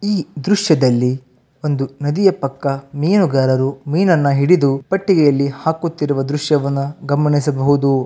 ಈ ದೃಶ್ಯದಲ್ಲಿಒಂದು ನದಿಯ ಪಕ್ಕ ಮೀನುಗಾರರು ಮೀನನ್ನು ಹಿಡಿದು ಪೆಟ್ಟಿಗೆಯಲ್ಲಿ ಹಾಕುತ್ತಿರುವ ದೃಶ್ಯವನ್ನು ಗಮನಿಸಬಹುದು.